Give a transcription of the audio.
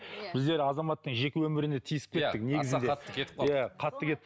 біздер азаматтың жеке өміріне тиісіп кеттік негізінде аса қатты кетіп қалдық